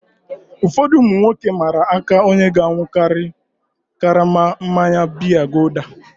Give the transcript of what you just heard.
Ụfọdụ ụmụ nwoke mmara aka onye ga-aṅụkari karama mmanya biya gulder.